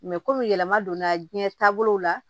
komi yɛlɛma donna jiɲɛ taabolo la